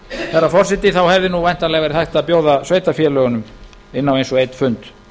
herra forseti hefði væntanlega verið hægt að bjóða sveitarfélögunum inn á eins og einn fund